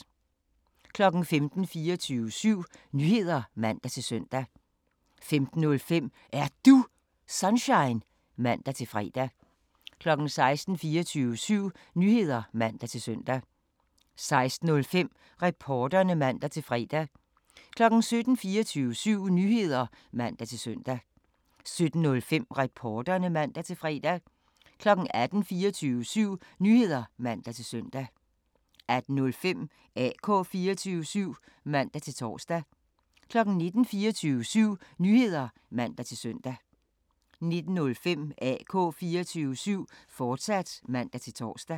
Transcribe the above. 15:00: 24syv Nyheder (man-søn) 15:05: Er Du Sunshine? (man-fre) 16:00: 24syv Nyheder (man-søn) 16:05: Reporterne (man-fre) 17:00: 24syv Nyheder (man-søn) 17:05: Reporterne (man-fre) 18:00: 24syv Nyheder (man-søn) 18:05: AK 24syv (man-tor) 19:00: 24syv Nyheder (man-søn) 19:05: AK 24syv, fortsat (man-tor)